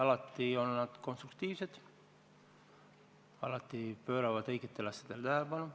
Alati on nad konstruktiivsed, alati pööravad õigetele asjadele tähelepanu.